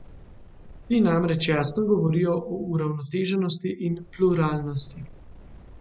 Ti namreč jasno govorijo o uravnoteženosti in pluralnosti.